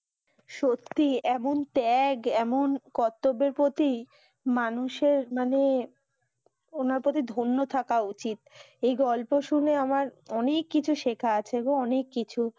সত্যি এমন ত্যাগ এমন কর্তব্যের পতি মানুষের মানে ওনার কাছে ধন্য থাকা উচিত এই গল্প শুনে আমার অনেক কিছু শেখা আছে গো অনেক কিছু